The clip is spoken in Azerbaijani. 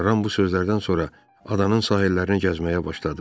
Ram bu sözlərdən sonra adanın sahillərini gəzməyə başladı.